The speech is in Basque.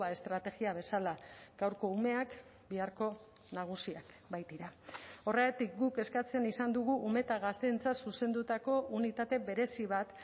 estrategia bezala gaurko umeak biharko nagusiak baitira horregatik guk eskatzen izan dugu ume eta gazteentzat zuzendutako unitate berezi bat